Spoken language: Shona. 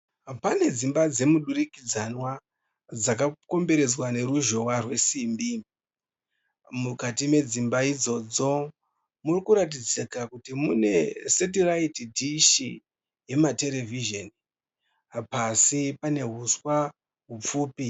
Pane dzimba dzemudurikidzanwa dzakakomberedza neruzhowa rwesimbi. Mukati medzimba idzodzo mukuratidza kuti mune setiririte dhishi rematerevizini .Pasi pane huswa hupfupi.